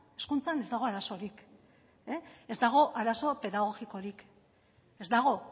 hezkuntzan ez dago arazorik ez dago arazo pedagogikorik ez dago